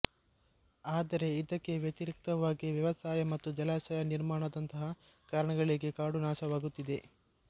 ಆದರೆ ಇದಕ್ಕೆ ವ್ಯತಿರಿಕ್ತವಾಗಿ ವ್ಯವಸಾಯ ಮತ್ತು ಜಲಾಶಯ ನಿರ್ಮಾಣದಂತಹ ಕಾರಣಗಳಿಗೆ ಕಾಡು ನಾಶವಾಗುತ್ತಿದೆ